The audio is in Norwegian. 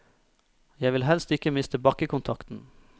Jeg vil helst ikke miste bakkekontakten.